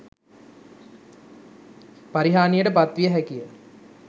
පරිහානියට පත්විය හැකිය.